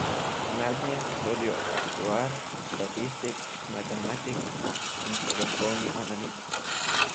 Mednje sodijo aktuar, statistik, matematik in podatkovni analitik.